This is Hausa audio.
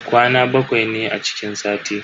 Kwana bakwai ne a cikin sati.